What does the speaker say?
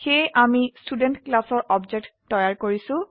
সেয়ে আমি ষ্টুডেণ্ট ক্লাসৰ অবজেক্ট তৈয়াৰ কৰিছো